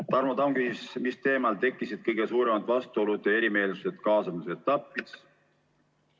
Tarmo Tamm küsis, mis teemal tekkisid kõige suuremad vastuolud ja erimeelsused kaasamise etapis.